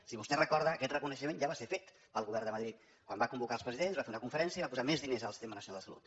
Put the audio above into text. si vostè ho recorda aquest reconeixement ja va ser fet pel govern de madrid quan va convocar els presidents va fer una conferència i va posar més diners al sistema nacional de salut